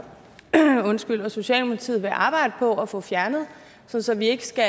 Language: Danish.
socialdemokratiet vil arbejde på at få fjernet så så vi ikke skal